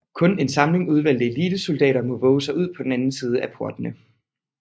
Kun en samling udvalgte elitesoldater må vove sig ud på den anden side af portene